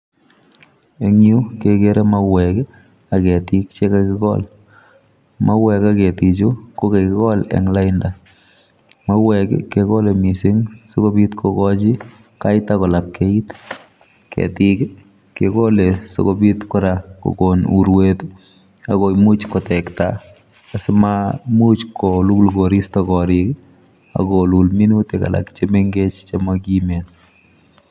Eng Yuu kegere mauweek ii ak ketiik che kagikol en laindaa mauweek kegole missing sikobiit kogochi lainda ko lapkeyiit ,ketiik ii kegole kora sikobiit kogoon uruet akomuuch kotektaa asimaimuch koluul koristoi koriik ii ako luul minutik alak che mengeech chemakiimen.